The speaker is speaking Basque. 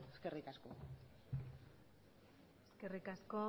eskerrik asko eskerrik asko